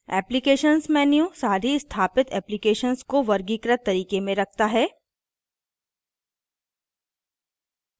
applications menu सारी स्थापित applications को वर्गीकृत तरीके में रखता है